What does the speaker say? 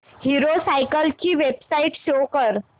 hero Cycles ची website show कर